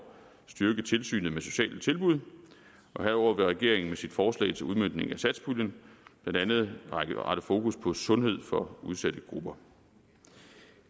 styrke tilsynet med sociale tilbud og herudover vil regeringen med sit forslag til udmøntningen af satspuljen blandt andet rette fokus mod sundhed for udsatte grupper